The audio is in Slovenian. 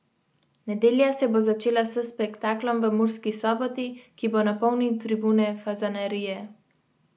Nedelja se bo začela s spektaklom v Murski Soboti, ki bo napolnil tribune Fazanerije.